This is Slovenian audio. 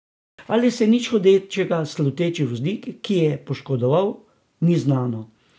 Ali se je nič hudega sluteči voznik kie poškodoval, ni znano.